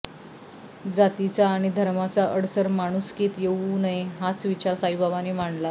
जातीचा आणि धर्माचा अडसर माणुसकीत येवू नये हाच विचार साईबाबांनी मांडला